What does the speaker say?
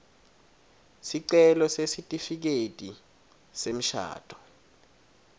sicelo sesitifiketi semshado